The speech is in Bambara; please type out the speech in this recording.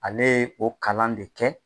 Ale ye o kalan de kɛ